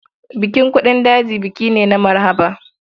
Bukin buɗin daji buki ne na maharba.